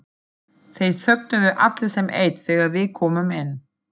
Þeir þögnuðu allir sem einn þegar við komum inn.